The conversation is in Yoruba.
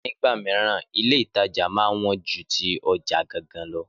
Nígbà mìíràn, Ilé-ìtajà máa ń wọ́n ju ti ọjà gangan lo